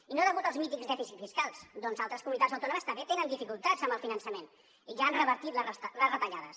i no degut als mítics dèficits fiscals ja que altres comunitats autònomes també tenen dificultats amb el finançament i ja han revertit les retallades